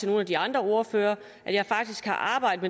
nogle af de andre ordførere at jeg faktisk har arbejdet